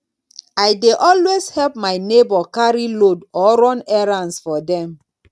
i dey always help my neighbor carry load or run errands for dem